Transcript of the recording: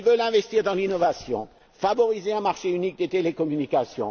Ils veulent investir dans l'innovation, favoriser un marché unique des télécommunications